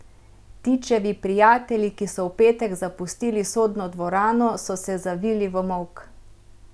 Tičevi prijatelji, ki so v petek zapustili sodno dvorano, so se zavili v molk.